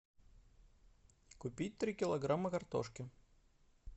купить три килограмма картошки